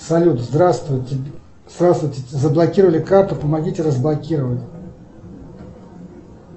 салют здравствуйте здравствуйте заблокировали карту помогите разблокировать